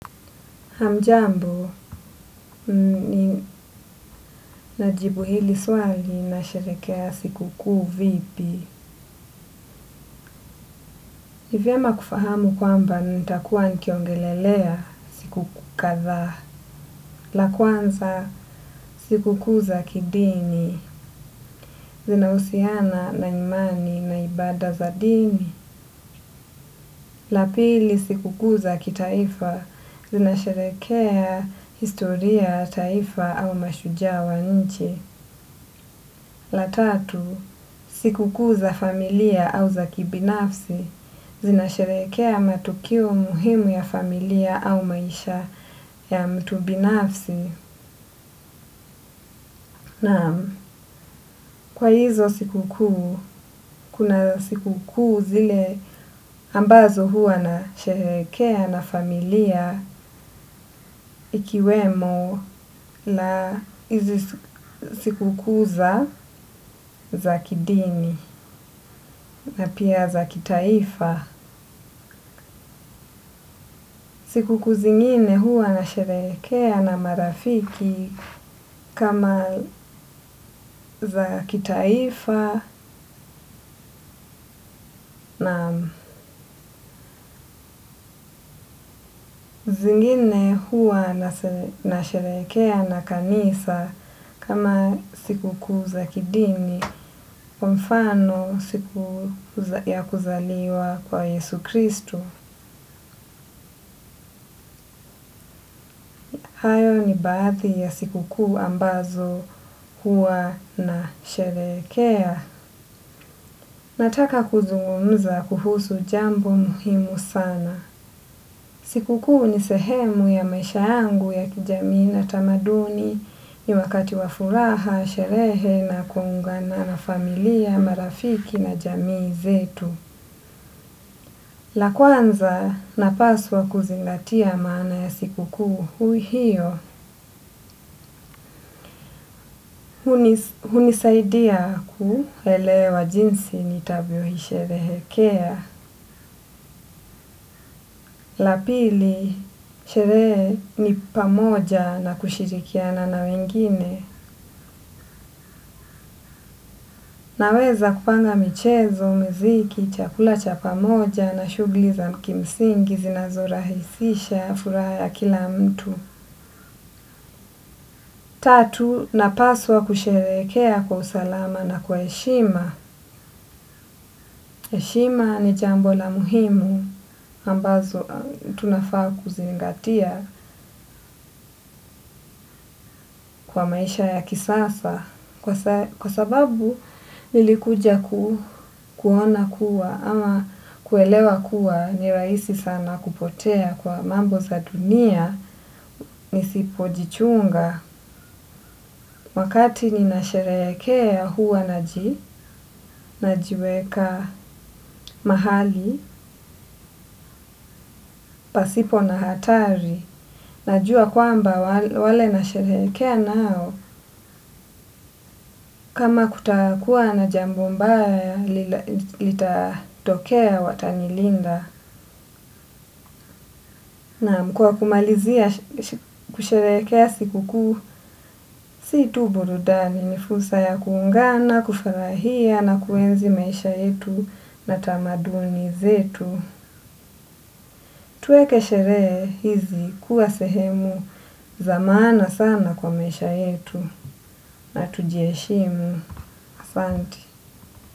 Hamjambo, ninajibu hili swali na sherekea sikukuu vipi. Ni vyema kufahamu kwamba nitakuwa nikiongelelea siku kadhaa. La kwanza, sikukuu za kidini. Zinausiana na imani na ibada za dini. La pili, sikukuu za kitaifa. Zina sherekea historia, taifa au mashujaa wa nchi. La tatu, sikukuu za familia au za kibinafsi zina sherekea matukio muhimu ya familia au maisha ya mtu binafsi. Na kwa hizo sikukuu, kuna sikukuu zile ambazo huwa nasherekea na familia ikiwemo la hizi siku kuu za za kidini na pia za kitaifa. Sikukuu zingine huwa nasherekea na marafiki kama za kitaifa na zingine huwa na sherekea na kanisa kama sikukuu za kidini. Mfano siku ya kuzaliwa kwa Yesu Kristu. Hayo ni baadhi ya sikukuu ambazo huwa nasherekea. Nataka kuzungumza kuhusu jambo muhimu sana. Sikukuu ni sehemu ya maisha yangu ya kijamii na tamaduni ni wakati wa furaha, sherehe na kuungana na familia, marafiki na jamii zetu. La kwanza, napaswa kuzingatia maana ya sikukuu hiyo. Hunisaidia kuelewa jinsi nitavyoisherehekea. La pili, sherehe ni pamoja na kushirikiana na wengine. Naweza kupanga michezo, muziki, chakula cha pamoja na shughli za kimsingi zinazorahisisha, furaha ya kila mtu. Tatu, napaswa kusherekea kwa usalama na kwa heshima. Heshima ni jambo la muhimu ambalo tunafaa kuzingatia kwa maisha ya kisasa. Kwa sababu nilikuja kuona kuwa ama kuelewa kuwa ni rahisi sana kupotea kwa mambo za dunia nisipojichunga. Wakati ninasherekea huwa najiweka mahali, pasipo na hatari. Najua kwamba wale nasherekea nao, kama kutakuwa na jambo mbaya, litatokea watanilinda. Naam, kwa kumalizia kusherekea sikukuu, si tu burudani, ni fursa ya kuungana, kufarahia na kuenzi maisha yetu na tamaduni zetu. Tuweke sherehe hizi kuwa sehemu za maana sana kwa maisha yetu na tujiheshimu asante.